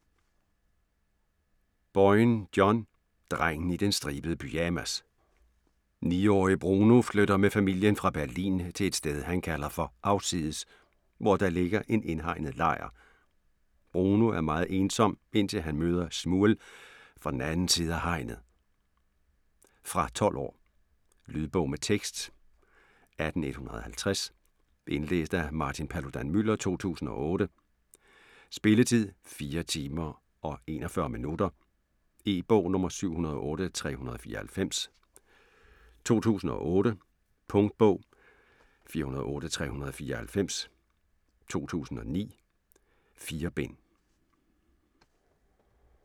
Boyne, John: Drengen i den stribede pyjamas 9-årige Bruno flytter med familien fra Berlin til et sted han kalder for "Afsides", hvor der ligger en indhegnet lejr. Bruno er meget ensom, indtil han møder Shmuel fra den anden side af hegnet. Fra 12 år. Lydbog med tekst 18150 Indlæst af Martin Paludan-Müller, 2008. Spilletid: 4 timer, 41 minutter. E-bog 708394 2008. Punktbog 408394 2009. 4 bind.